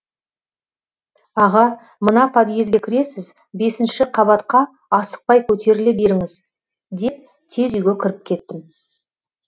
аға мына подъезге кіресіз бесінші қабатқа асықпай көтеріле беріңіз деп тез үйге кіріп кеттім